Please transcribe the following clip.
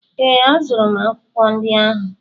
Ee, azụrụ m akwụkwọ ndị ahụ